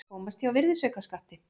Komast hjá virðisaukaskatti